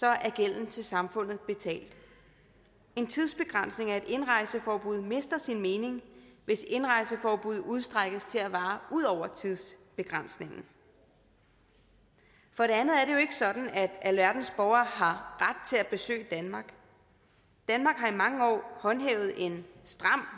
er gælden til samfundet betalt en tidsbegrænsning af et indrejseforbud mister sin mening hvis indrejseforbuddet udstrækkes til at vare ud over tidsbegrænsningen for det andet er det jo ikke sådan at alverdens borgere har ret til at besøge danmark danmark har i mange år håndhævet en stram